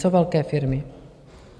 Co velké firmy?